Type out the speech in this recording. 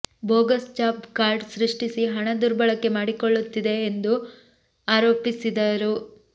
bogus job card ಸೃಷ್ಟಿಸಿ ಹಣ ದುರ್ಬಳಕೆ ಮಾಡಿಕೊಳ್ಳಲಾಗುತ್ತಿದೆ ಎಂದು ಆರೋಪಿಸಿದರು